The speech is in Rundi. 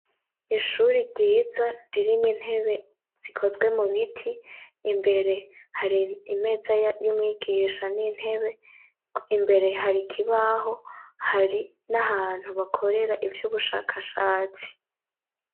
ishuri ryiza ririmwo intebe zikozwe mu biti imbere hari imeza y'umwigisha nintebe imbere hari kibaho hari n'ahantu bakorera iby'ubushakashatsi